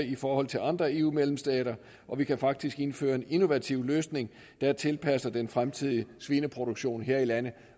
i forhold til andre eu medlemsstater vi kan faktisk indføre en innovativ løsning der tilpasser den fremtidige svineproduktion her i landet